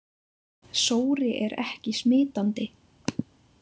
Sóri er ekki smitandi.